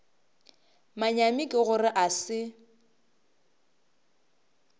manyami ke gore a se